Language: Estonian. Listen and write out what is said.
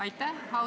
Aitäh!